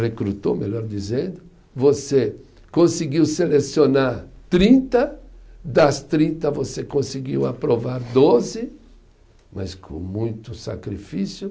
Recrutou, melhor dizendo, você conseguiu selecionar trinta, das trinta você conseguiu aprovar doze, mas com muito sacrifício.